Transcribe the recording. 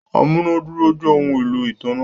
amunàdúró jẹ ohùn èlò ìtanná.